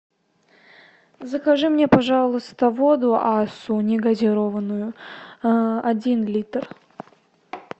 закажи мне пожалуйста воду ассу не газированную один литр